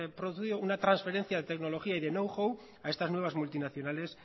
producido una transferencia de tecnología y de know how a estas nuevas multinacionales